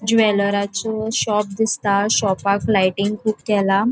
ज्वेलरा च्यो शॉप दिसता शॉपाक लाइटिंग कुब केला.